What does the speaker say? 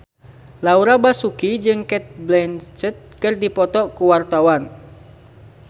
Laura Basuki jeung Cate Blanchett keur dipoto ku wartawan